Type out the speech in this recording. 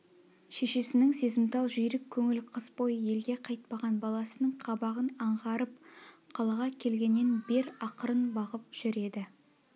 шешесінің сезімтал жүйрік көңіл қыс бойы елге қайтпаған баласының қабағын аңғарып қалаға келгеннен бер ақырын бағып жүр еді